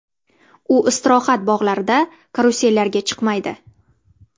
U istirohat bog‘larida karusellarga chiqmaydi.